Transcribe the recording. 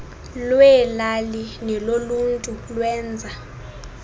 lweelali neloluntu lwenza